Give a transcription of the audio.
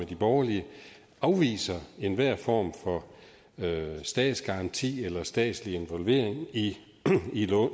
de borgerlige afviser enhver form for statsgaranti eller statslig involvering i